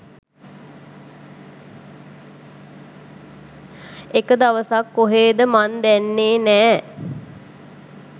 එක දවසක් කොහේද මන්දැන්නේ නෑ